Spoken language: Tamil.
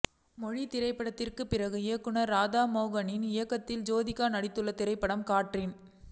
மொழி திரைப்படத்திற்கு பிறகு இயக்குநர் ராதா மோகனின் இயக்கத்தில் ஜோதிகா நடித்துள்ள திரைப்படம் காற்றின்